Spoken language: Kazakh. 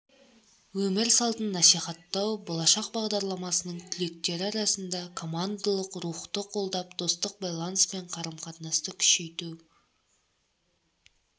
өмір салтын насихаттау болашақ бағдарламасының түлектері арасында командалық рухты қолдап достық байланыс пен қарым-қатынасты күшейту